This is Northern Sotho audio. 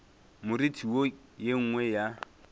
moriti wo ye nngwe ya